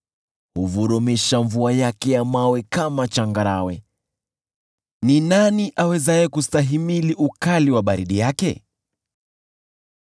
Huvurumisha mvua yake ya mawe kama changarawe. Ni nani awezaye kustahimili ukali wa baridi yake?